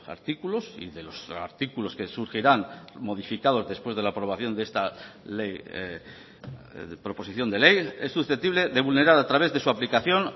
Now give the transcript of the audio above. artículos y de los artículos que surgirán modificados después de la aprobación de esta proposición de ley es susceptible de vulnerar a través de su aplicación